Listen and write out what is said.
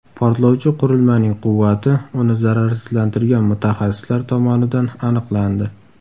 Portlovchi qurilmaning quvvati uni zararsizlantirgan mutaxassislar tomonidan aniqlandi.